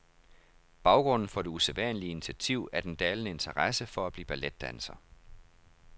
Baggrunden for det usædvanlige initiativ er den dalende interesse for at blive balletdanser.